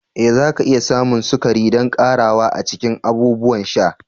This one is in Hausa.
Ee zaki iya samun sukari don ƙarawa a cikin abubuwan sha.